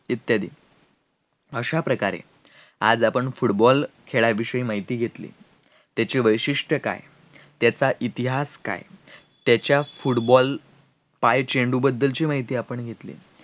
इत्यादी अश्या प्रकारे आज आपण football खेळा विषयी माहिती घेतली, त्याची वैशिट्ये काय, त्याचा इतिहास काय त्याच्या football पायचेन्डु बद्दलची आपण माहिती घेतली